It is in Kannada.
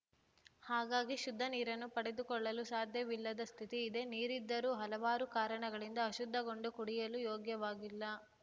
ಹಾಗಾಗಿ ಶುದ್ದ ನೀರನ್ನು ಪಡೆದುಕೊಳ್ಳಲು ಸಾಧ್ಯವಿಲ್ಲದ ಸ್ಥಿತಿ ಇದೆ ನೀರಿದ್ದರೂ ಹಲವಾರು ಕಾರಣಗಳಿಂದ ಆಶುದ್ಧಗೊಂಡು ಕುಡಿಯುಲು ಯೋಗ್ಯವಾಗಿಲ್ಲ